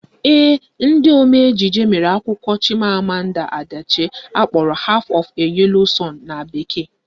Ee, ndị omee ejije mere akwụkwọ Chimamanda Adichie akpọrọ Half of a Yellow sun na bekee